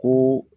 Ko